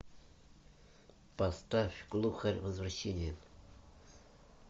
поставь глухарь возвращение